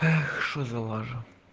эх что за лажа